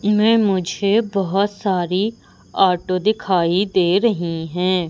इनमें मुझे बहुत सारी ऑटो दिखाई दे रही हैं।